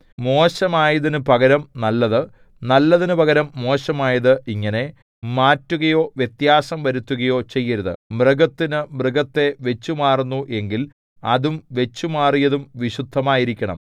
മോശമായതിനു പകരം നല്ലത് നല്ലതിനു പകരം മോശമായത് ഇങ്ങനെ മാറ്റുകയോ വ്യത്യാസം വരുത്തുകയോ ചെയ്യരുത് മൃഗത്തിനു മൃഗത്തെ വച്ചുമാറുന്നു എങ്കിൽ അതും വച്ചുമാറിയതും വിശുദ്ധമായിരിക്കണം